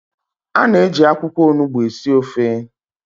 A na-eji akwụkwọ Onugbu esi ofe